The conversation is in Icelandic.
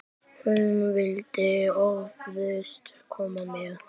Hún vildi óðfús koma með.